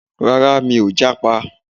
Rárá, mi ò jápa